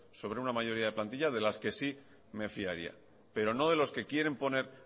sobre una mayoría de plantilla de la que sí me fiaría pero no de los que quieren poner